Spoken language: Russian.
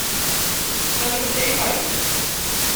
салют эй парень